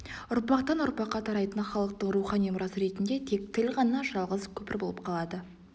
ұрпақтан-ұрпаққа тарайтын халықтың рухани мұрасы ретінде тек тіл ғана жалғыз көпір болып қалады